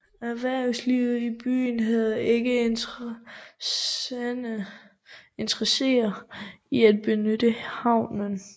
Erhvervslivet i byen havde ikke interesse i at benytte havnen